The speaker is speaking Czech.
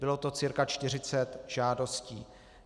Bylo to cirka 40 žádostí.